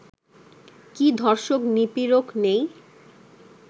কি ধর্ষক-নিপীড়ক নেই?